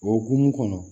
O hokumu kɔnɔ